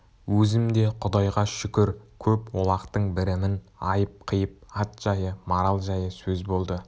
өзім де құдайға шүкір көп олақтың бірімін айып-қиып ат жайы марал жайы сөз болды